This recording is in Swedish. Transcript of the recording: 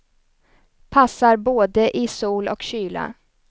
Passar både i sol och kyla.